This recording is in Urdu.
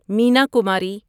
مینا کماری